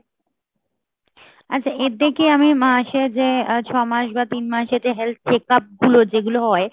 আচ্ছা এর থেকে আমি মাসে যে ছ মাস বা তিন মাসের যে health check up গুলো যেগুলো হয়